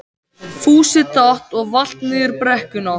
Fúsi datt og valt niður brekkuna.